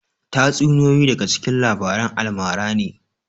Tatsuniyoyi daga cikin labaran almara ne